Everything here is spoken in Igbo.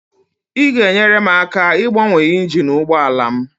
ị ga-enyere m aka ịgbanwe injin ụgbọ ala m?